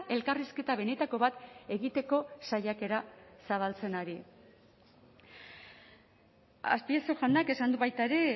elkarrizketa benetako bat egiteko saiakera zabaltzen ari azpiazu jaunak esan du baita ere